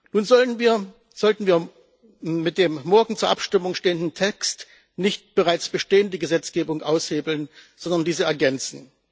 Nun sollten wir mit dem morgen zur Abstimmung stehenden Text nicht bereits bestehende Gesetzgebung aushebeln, sondern diese ergänzen.